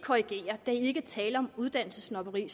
korrigere der er ikke tale om uddannelsessnobberi